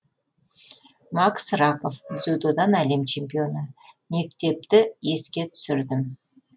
максим раков дзюдодан әлем чемпионы мектепті еске түсірдім